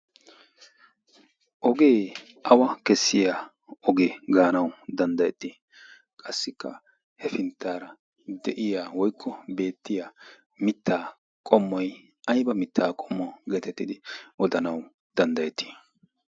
ogee awa kessiya ogee gaanawu danddayettii qassikka hefinttaara de'iya woikko beettiya mittaa qommoy ayba mittaa qommuwaa geetettidi odanawu danddayettii